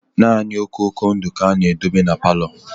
Nani okoko ndụ ka ha na-edobe n'palo